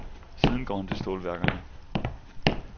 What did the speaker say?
Siden går han til stålværkerne.